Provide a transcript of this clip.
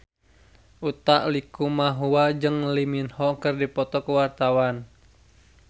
Utha Likumahua jeung Lee Min Ho keur dipoto ku wartawan